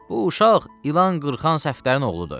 Bu uşaq ilan qırxan Səfdərin oğludur.